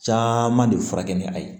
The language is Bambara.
Caman de furakɛ ni a ye